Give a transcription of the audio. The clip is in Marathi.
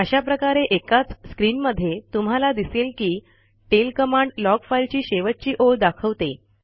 अशाप्रकारे एकाच स्क्रीनमध्ये तुम्हाला दिसेल की टेल कमांड लॉग फाइल ची शेवटची ओळ दाखवते